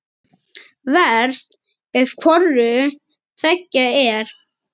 Verst ef hvoru tveggja er.